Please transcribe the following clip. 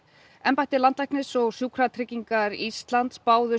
embætti landlæknis og Sjúkratryggingar Íslands báðu